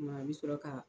Kuma i bɛ sɔrɔ ka